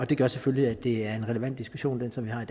det gør selvfølgelig at det er en relevant diskussion som vi har